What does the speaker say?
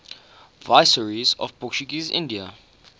viceroys of portuguese india